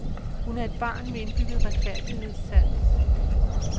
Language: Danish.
Hun er et barn med indbygget retfærdighedssans.